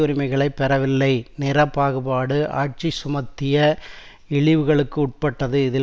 உரிமைகளை பெறவில்லை நிற பாகுபாடு ஆட்சி சுமத்திய இழிவுகளுக்கு உட்பட்டது இதில்